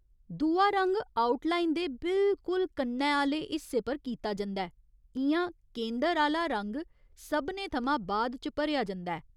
दूआ रंग outline दे बिल्कुल कन्नै आह्‌ले हिस्से पर कीता जंदा ऐ इ'यां केंदर आह्‌ला रंग सभनें थमां बाद च भरेआ जंदा ऐ।